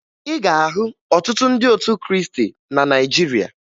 Ị ga-ahụ ọtụtụ ndị otu Krịịstị na Nigeria